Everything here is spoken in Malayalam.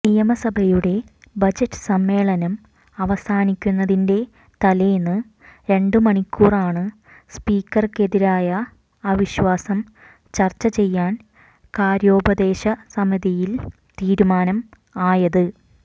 നിയമസഭയുടെ ബജറ്റ് സമ്മേളനം അവസാനിക്കുന്നതിന്റെ തലേന്ന് രണ്ട് മണിക്കൂറാണ് സ്പീക്കര്ക്കെതിരായ അവിശ്വാസം ചര്ച്ച ചെയ്യാൻ കാര്യോപദേശ സമിതിയിൽ തീരുമാനം ആയത്